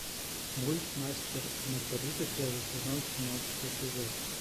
мульт мастер и маргарита первый сезон семнадцатый эпизод